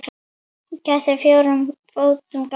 Kettir á fjórum fótum ganga.